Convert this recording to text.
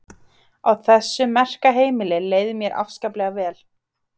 Á þessu merka heimili leið mér afskaplega vel.